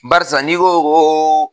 Barisa n'i ko ko